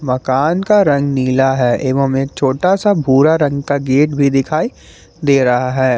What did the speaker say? मकान का रंग नीला है एवं छोटा सा भूरा रंग का गेट भी दिखाई दे रहा है।